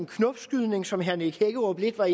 knopskydning som herre nick hækkerup var